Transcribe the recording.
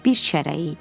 Bir çərəyi idi.